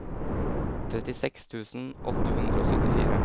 trettiseks tusen åtte hundre og syttifire